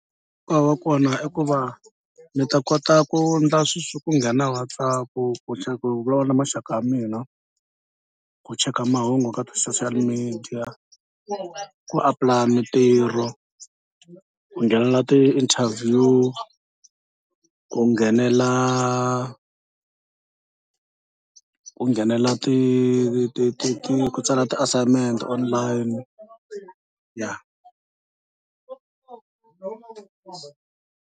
Nkoka wa kona i ku va mi ta kota ku endla sweswo ku nghena WhatsApp ku, ku vulavula na maxaka ya mina, ku cheka mahungu ka ti-social media, ku apply mitirho, ku nghenelela ti-interview, ku nghenela ku nghenela ti ti ti ku tsala ti-assignment online ya.